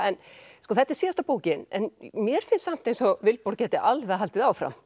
þetta er síðasta bókin en mér finnst samt eins og Vilborg gæti alveg haldið áfram